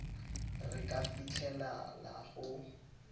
re ka fitlhelela go le